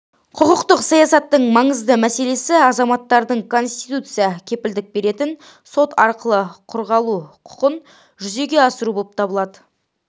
құқықтық саясаттың маңызды мәселесі азаматтардың конституция кепілдік беретін сот арқылы қорғалу құқын жүзеге асыруы болып табылады